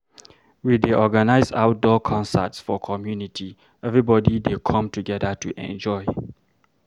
We dey organize outdoor concerts for community, everybody dey come together to enjoy.